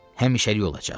Həmişəlik olacaq.